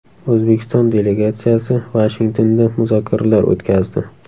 O‘zbekiston delegatsiyasi Vashingtonda muzokaralar o‘tkazdi.